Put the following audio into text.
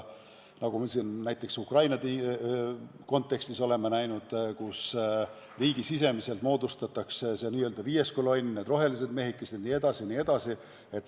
Nagu me näiteks Ukraina kontekstis oleme näinud, võidakse riigisiseselt moodustada n-ö viies kolonn, need rohelised mehikesed, jne.